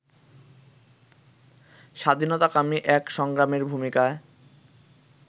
স্বাধীনতাকামী এক সংগ্রামীর ভূমিকায়